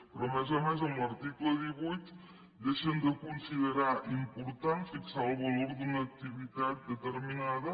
però a més a més en l’article divuit deixen de considerar important fixar el valor d’una activitat determinada